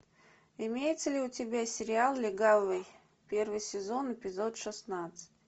имеется ли у тебя сериал легавый первый сезон эпизод шестнадцать